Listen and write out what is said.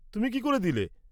তুমি কি করে দিলে?